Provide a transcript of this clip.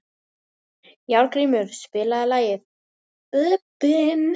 Járngrímur, spilaðu lagið „Bubbinn“.